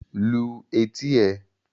Lu etí ẹ!